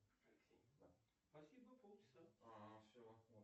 джой как заставить себя подойти к человеку и познакомиться